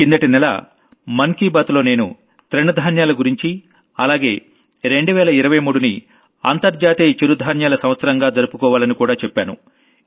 కిందటి నెల మనసులో మాటలో నేను తృణ ధాన్యాల గురించి అలాగే 2023నిఇంటర్నేషనల్ మిల్లెట్ యియర్ గా మనం జరుపుకోవాలని చెప్పాను